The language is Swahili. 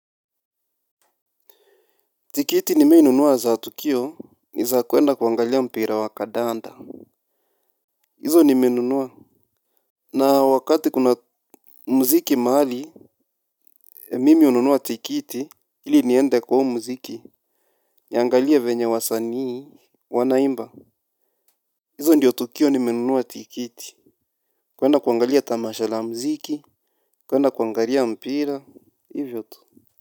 Tiketi nimai nunua za tukio ni za kuenda kuangalia mpira wa kadanda. Hizo nimeunua. Na wakati kuna mziki mahali mimi ununua tikiti ili niende kwa u muziki. Niangalie venye wasanii Wanaimba. Hizo ndiyo tukio nimenunua Tikiti. Kuenda kuangalia tamasha la mziki. Kuenda kuangalia mpira. Hivyo tu.